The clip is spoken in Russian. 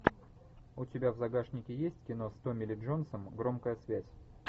у тебя в загашнике есть кино с томми ли джонсом громкая связь